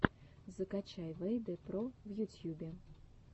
закачай вэйдэ про в ютьюбе